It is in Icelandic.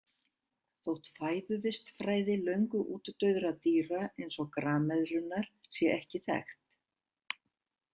Þótt fæðuvistfræði löngu útdauðra dýra eins og grameðlunnar sé ekki þekkt.